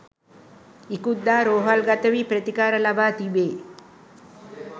ඉකුත්දා රෝහල්ගත වී ප්‍රතිකාර ලබා තිබේ.